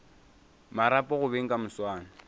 marapo go beng ka moswane